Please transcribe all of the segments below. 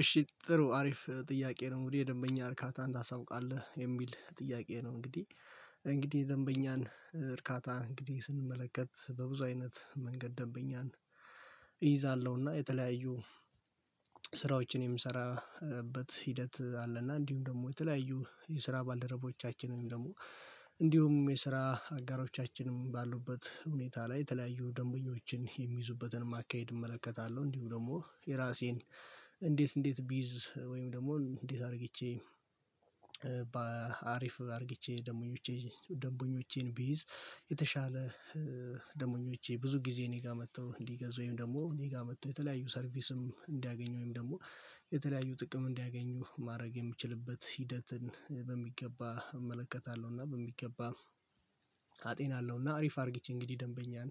እሺ ጥሩ አሪፍ ጥያቄ ነው። እንግዲህ የደንበኛ እርካታን ታሳውቃለህ የሚል ጥያቄ ነው እንግዲህ እንግዲህ ደንበኛን እርካታ እንግዲህ ስንመለከት በብዙ አይነት መንገድ ደንበኛን እይዛለሁ። የተለያዩ ስራዎችን የምሰራበት ሂደት አለና እንዲሁም ደግሞ የተለያዩ የስራ ባልደረቦቻችንን ደግሞ እንዲሁም የስራ አጋሮቻችንም ባሉበት ሁኔታ ላይ የተለያዩ ደንበኞችን የሚይዙበትንም አካሄድ እመለከታለሁ፤ እንዲሁ ደግሞ የራሴን እንዴት እንዴት ቢይዝ ወይም ደግሞ እንዴት አድርግቼ በአሪፍ አድርግቼ ደንቦኞቼ ደሞኞቼን ቢይዝ የተሻለ ደንበኞቼ ብዙ ጊዜ እኔ ጋር መጥተው እንዲገዙ ወይም ደግሞ እኔ ጋር መጥተው የተለያዩ ሰርቪስም እንዲያገኙ ወይም ደግሞ የተለያዩ ጥቅም እንዲያገኙ ማድረግ የምችልበት ሂደትን በሚገባ እመለከታለሁ እና በሚገባ አጤናለሁ እና አሪፍ አድርጊች እንግዲህ ደንበኛን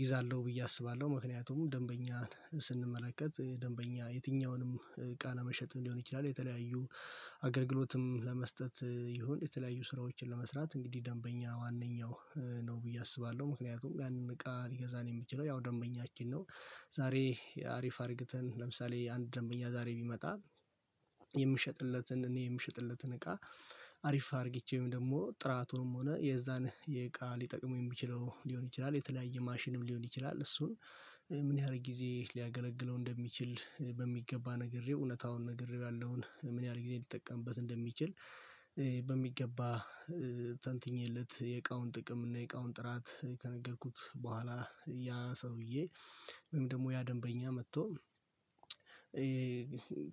ይዛለሁ ብዬ አስባለሁ። ምክንያቱም ደንበኛን ስንመለከት ደንበኛ የትኛውንም እቃ ለመሸጥም ሊሆን ይችላል፤ የተለያዩ አገልግሎትም ለመስጠት ይሁን የተለያዩ ስራዎችን ለመስራት እንግዲህ ደንበኛ ዋነኛው ነው ብዬ አስባለሁ። ምክንያቱም ያንን እቃ ሊገዛን የሚችለው ያው ደንበኛችን ነው። ዛሬ አሪፍ አድርገተን ለምሳሌ አንድ ደመኛ ዛሬ ቢመጣ የምሸጥለትን እኔ የምሸጥለትን እቃ አሪፍ አድርጊቼም ደግሞ ጥራቱንም ሆነ የዛን የእቃ ሊጠቅሙ የሚችለው ሊሆን ይችላል፤ የተለያየ ማሽንም ሊሆን ይችላል፤ እሱን ምን ያህል ጊዜ ሊያገለግለው እንደሚችል በሚገባ ነገር፣ እውነታውን ነገር፣ ያለውን ምን ያህል ጊዜ ሊጠቀምበት እንደሚችል በሚገባ የእቃውን ጥቅም እና የእቃውን ጥራት ከነገርኩት በኋላ፣ ያ ሰውዬ ወይም ደግሞ ያ ደንበኛ መጥቶ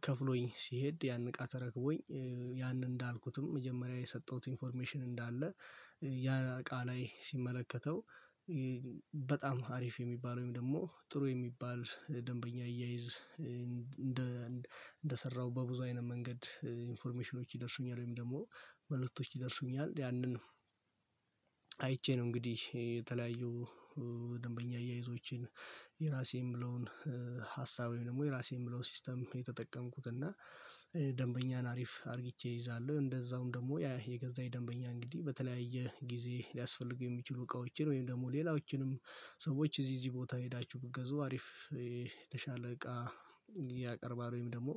ከፍሎኝ ሲሄድ ያንን እቃ ተረክቦኝ ያንን እንዳልኩትም መጀመሪያ የሰጠሁት ኢንፎርሜሽን እንዳለ ያ እቃ ላይ ሲመለከተው በጣም አሪፍ የሚባለው ወይም ደግሞ ጥሩ የሚባል ደንበኛ አያይዝ እንደ እንደሰራው በብዙ አይነት መንገድ ኢንፎርሜሽኖች ይደርሱኛል ወይም ደግሞ መልሶች ይደርሱኛል። ያንን አይቼ ነው እንግዲህ የተለያዩ ደንበኛ አያይዞቼን የራሴ የምለውን ሀሳቤን ደግሞ የራሴ የምለውን ሲስተም የተጠቀምኩት እና ደንበኛን አሪፍ አድርግቼ ይይዛለሁ፤ እንደዛውም ደግሞ ያ የገዛኝ ደንበኛ እንግዲህ በተለያየ ጊዜ ሊያስፈልጉ የሚችሉ እቃዎችን ወይም ደግሞ ሌላዎችንም ሰዎች እዚህ እዚህ ቦታ ሄዳችሁ ብትገዙ አሪፍ የተሻለ እቃ ያቀርባል ወይም ደግሞ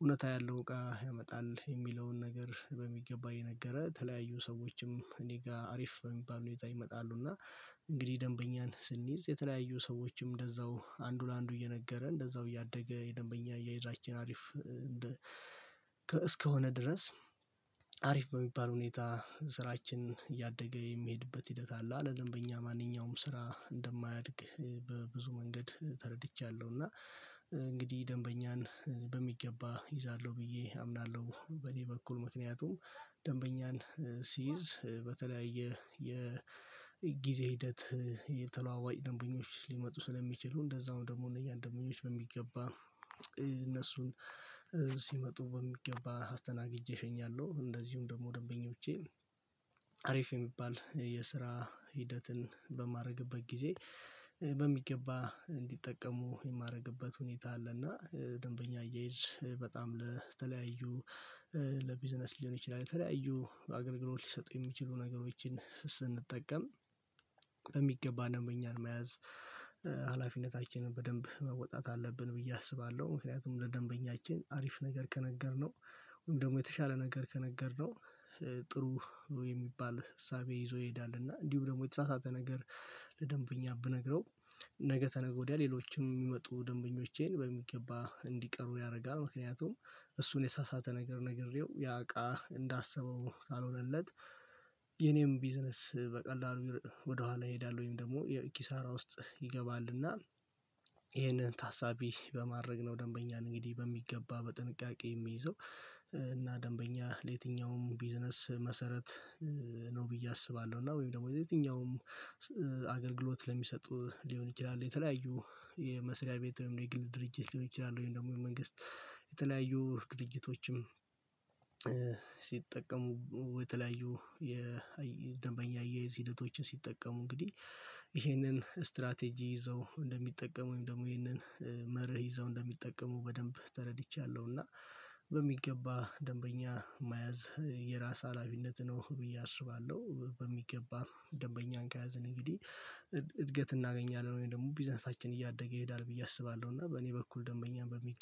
እውነት ያለው እቃ ያመጣል የሚለውን ነገር በሚገባ እየነገረ ተለያዩ ሰዎችም እኔ ጋር አሪፍ በሚባል ሁኔታ ይመጣሉ እና እንግዲህ ደንበኛን ስንይዝ የተለያዩ ሰዎችም እንደዛው አንዱ ለአንዱ እየነገረ፤ እንደዛው እያደገ የደንበኛ አያያዛችን አሪፍ እንደ እስከሆነ ድረስ አሪፍ በሚባል ሁኔታ ስራችን እያደገ የሚሄድበት ሂደት አለ። አለ ደንበኛ ማንኛውም ስራ እንደማያድግ በብዙ መንገድ ተረድቻለሁ እና እንግዲህ ደንበኛን በሚገባ ይዛለሁ ብዬ አምናለሁ በደንበኛ በኩል። ምክንያቱም ደንበኛን ሲይዝ በተለያየ የጊዜ ሂደት የተለዋዋጭ ደንበኞች ሊመጡ ስለሚችሉ እንደዛውም ደግሞ እነዚህን ደንበኞች በሚገባ እነሱን ሲመጡ በሚገባ አስተናግጄ እሸኛለሁ፤ እንደዚሁም ደግሞ ደንበኞቼ አሪፍ የሚባል የስራ ሂደትን በማድረግበት ጊዜ በሚገባ እንዲጠቀሙ የማደርግበት ሁኔታ አለና ደንበኛ አያይዝ በጣም ለተለያዩ ለቢዝነስ ሊሆን ይችላል የተለያዩ አገልግሎት ሊሰጡ የሚችሉ ነገሮችን ስንጠቀም በሚገባ ደግሞ እኛን መያዝ ሀላፊነታችንን በደንብ መወጣት አለብን ብዬ አስባለሁ። ምክንያቱም ለደንበኛችን አሪፍ ነገር ከነገርነው ወይም ደግሞ የተሻለ ነገር ከነገርነው ጥሩ የሚባል እሳቤ ይዞ ይሄዳል እና እንዲሁም ደግሞ የተሳሳተ ነገር ለደንበኛ ብነግረው ነገ ተነገ ወዲያ ሌሎችም የሚመጡ ደንበኞቼን በሚገባ እንዲቀሩ ያደርጋል ምክንያቱም እሱን የሳሳተ ነገር ነግሬው ያቃ እንዳሰበው ካልሆነለት የኔም ቢዝነስ በቀላሉ ወደኋላ ይሄዳል ወይም ደግሞ የኪሳራ ውስጥ ይገባልና ይሄንን ታሳቢ በማድረግ ነው ደንበኛን እንግዲህ በሚገባ በጥንቃቄ የሚይዘው እና ደንበኛ ለየትኛውም ቢዝነስ መሰረት ነው ብዬ አስባለሁ እና ወይም ደግሞ የየትኛውም አገልግሎት ለሚሰጡ ሊሆን ይችላ፤ የተለያዩ የመስሪያ ቤት ወይም የግል ድርጅት ሊሆን ይችላል ወይም ደግሞ የመንግስት የተለያዩ ድርጅቶችም ሲጠቀሙ የተለያዩ የደንበኛ አያይዝ ሂደቶችን ሲጠቀሙ እንግዲህ ይሄንን ስትራቴጂ ይዘው እንደሚጠቀሙ ደግሞ ይሄንን መርህ ይዘው እንደሚጠቀሙ በደንብ ተረድቻለሁ እና በሚገባ ደንበኛ መያዝ የራስ አላቢነት ነው ብዬ አስባለሁ፤ በሚገባ ደንበኛን ከያዘን እንግዲህ እድገት እናገኛለን ወይም ደግሞ ቢዝነሳችን እያደገ ይሄዳል ብዬ አስባለሁ እና በእኔ በኩል ደንበኛም በሚ